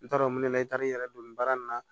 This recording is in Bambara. N t'a dɔn mun ne taar'i yɛrɛ don nin baara in na